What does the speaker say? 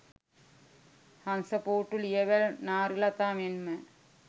හංසපූට්ටු ලියවැල් නාරිලතා මෙන්ම